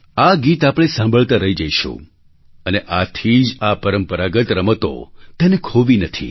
આ ગીત આપણે સાંભળતા રહી જઈશું અને આથી જ આ પરંપરાગત રમતો તેને ખોવી નથી